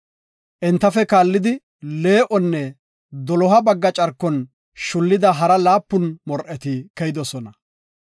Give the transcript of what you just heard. Entafe kaallidi, lee7onne doloha bagga carkon shullida hara laapun mor7eti keyidosona.